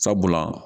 Sabula